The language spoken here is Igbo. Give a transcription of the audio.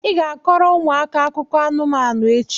ị ga-akọrọ ụmụaka akụkọ anụmanụ echi!